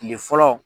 Tile fɔlɔ